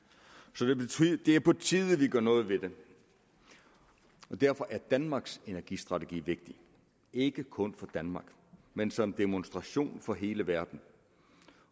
så det er på tide vi gør noget ved det og derfor er danmarks energistrategi vigtig ikke kun for danmark men som demonstration for hele verden